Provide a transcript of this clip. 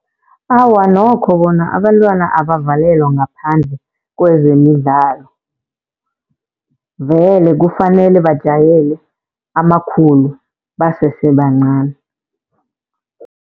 Awa, nokho bona abantwana abavalelwa ngaphandle kwezemidlalo, vele kufanele bajayele amakhulu basese bancani.